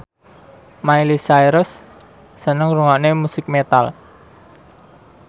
Miley Cyrus seneng ngrungokne musik metal